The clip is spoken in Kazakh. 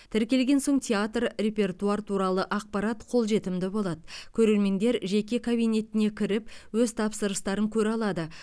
тіркелген соң театр репертуар туралы ақпарат қолжетімді болады көрермендер жеке кабинетіне кіріп өз тапсырыстарын көре алады